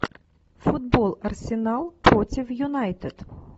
футбол арсенал против юнайтед